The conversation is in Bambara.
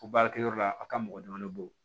O baarakɛyɔrɔ la a ka mɔgɔ damadɔni bolo